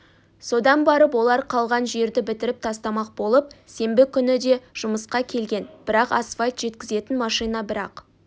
содан барып олар қалған жерді бітіріп тастамақ болып сенбі күні де жұмысқа келген бірақ асфальт жеткізетін машина бір-ақ